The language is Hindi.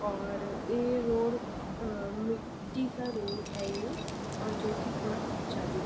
और ए रोड मिट्टी का रोड है ये और जो कि थोड़ा कच्चा भी है।